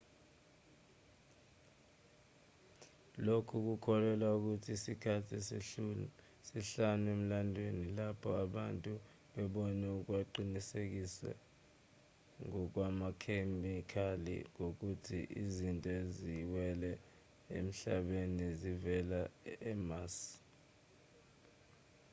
lokhu kukholelwa ukuthi isikhathi sesihlanu emlandweni lapho abantu bebone okuqinisekiswe ngokwamakhemikhali ngokuthi izinto eziwele emhlabeni zivela emars